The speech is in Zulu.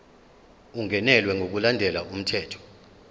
ungenelwe ngokulandela umthetho